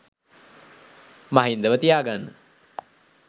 මහින්දව තියා ගන්න